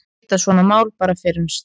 Geta svona mál bara fyrnst?